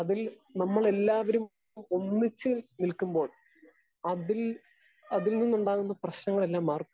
Speaker 2 അതിൽ നമ്മളെല്ലാവരും ഒന്നിച്ച് നിൽക്കുമ്പോൾ അതിൽ അതിൽ നിന്നുണ്ടാകുന്ന പ്രശ്നങ്ങളെല്ലാം മാറിപ്പോകും.